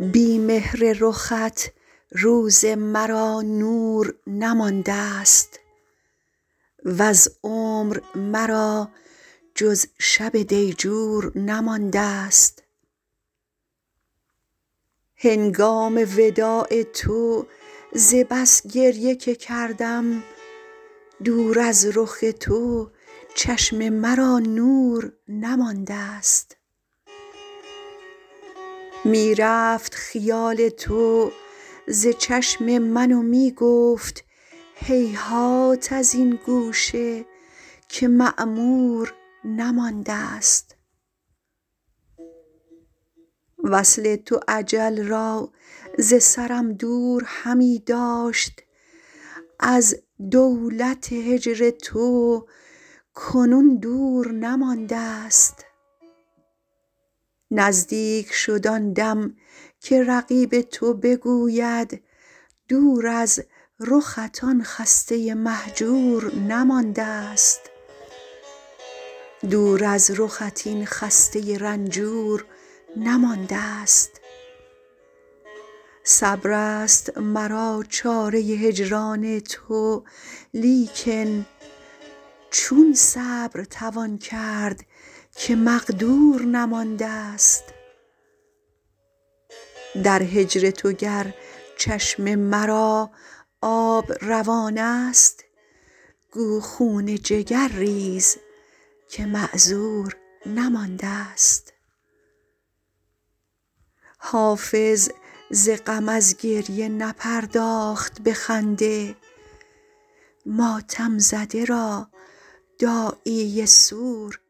بی مهر رخت روز مرا نور نماندست وز عمر مرا جز شب دیجور نماندست هنگام وداع تو ز بس گریه که کردم دور از رخ تو چشم مرا نور نماندست می رفت خیال تو ز چشم من و می گفت هیهات از این گوشه که معمور نماندست وصل تو اجل را ز سرم دور همی داشت از دولت هجر تو کنون دور نماندست نزدیک شد آن دم که رقیب تو بگوید دور از رخت این خسته رنجور نماندست صبر است مرا چاره هجران تو لیکن چون صبر توان کرد که مقدور نماندست در هجر تو گر چشم مرا آب روان است گو خون جگر ریز که معذور نماندست حافظ ز غم از گریه نپرداخت به خنده ماتم زده را داعیه سور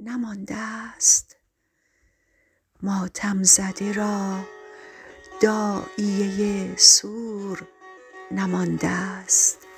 نماندست